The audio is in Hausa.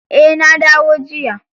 Eh na dawo jiya.